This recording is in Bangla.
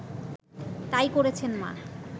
তাই করেছেন মা